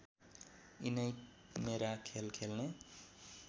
यिनै मेरा खेल खेल्ने